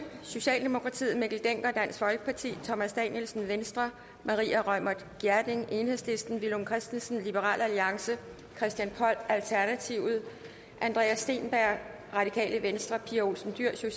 mikkel dencker thomas danielsen maria reumert gjerding villum christensen christian poll andreas steenberg pia olsen dyhr